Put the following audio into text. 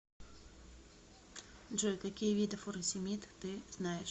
джой какие виды фуросемид ты знаешь